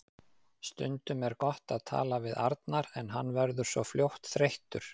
Stundum er gott að tala við Arnar en hann verður svo fljótt þreyttur.